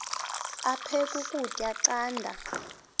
aphek ukutya canda